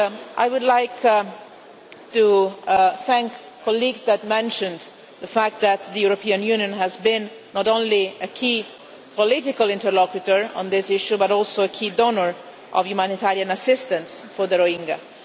I would like to thank colleagues who mentioned the fact that the European Union has been not only a key political interlocutor on this issue, but also a key donor of humanitarian assistance for the Rohingya.